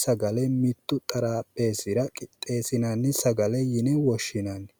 sagale mittu xarapheessira qixeessinoonni sagale yine woshshinanni